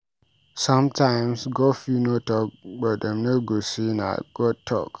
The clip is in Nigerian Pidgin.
Sometimes God fit no talk but dem go say na God talk.